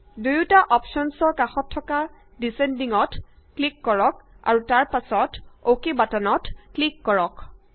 দুয়ুটা অপশ্যনৰে কাষত থকা ডিচেন্ডিং ত ক্লিক কৰক আৰু তা পাছত অকে বাটনত ক্লিক কৰক